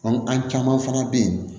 An caman fana bɛ yen